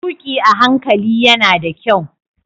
Tuki a hankali yana da kyau.